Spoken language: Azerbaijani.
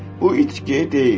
Bu itki deyildir.